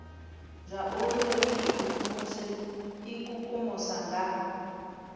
zwauri ri ikukumuse ikukumusa nga